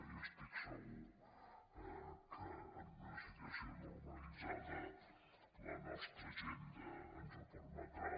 i estic segur que en una situació normalitzada la nostra agenda ens ho permetrà